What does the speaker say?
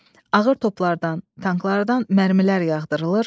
Ağır toplardan, tanklardan mərmilər yağdırılır.